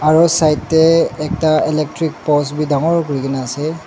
aro side tey ekta electric post bi dangor kurigena ase.